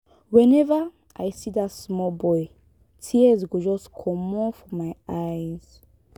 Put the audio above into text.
whenever i see dat small boy tears go just comot for my eyes